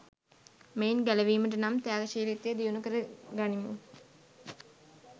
මෙයින් ගැලවීමට නම්, ත්‍යාගශීලීත්වය දියුණු කර ගනිමු.